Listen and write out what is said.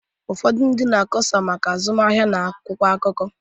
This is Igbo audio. Ụfọdụ ndị na-akọsa maka azụmahịa ha n’akwụkwọ akụkọ